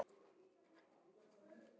Þetta er bara hjátrú.